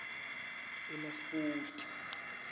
enaspoti